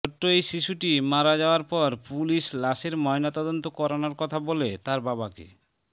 ছোট্ট এই শিশুটি মারা যাওয়ার পর পুলিশ লাশের ময়নাতদন্ত করানোর কথা বলে তার বাবাকে